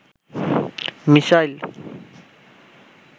missile